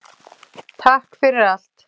Takk fyrir allt!